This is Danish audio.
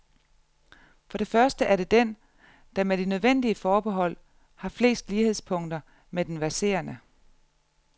For det første er det den, der, med de nødvendige forbehold, har flest lighedspunkter med den verserende.